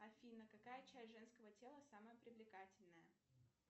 афина какая часть женского тела самая привлекательная